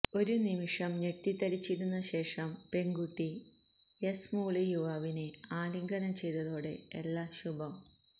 ഒരു നിമിഷം ഞെട്ടിത്തരിച്ചിരുന്ന ശേഷം പെണ്കുട്ടി യേസ് മൂളി യുവാവിനെ ആലിംഗനം ചെയ്തതോടെ എല്ലാം ശുഭം